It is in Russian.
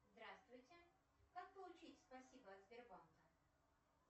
здравствуйте как получить спасибо от сбербанка